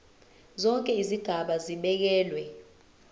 zonke izigaba zibekelwe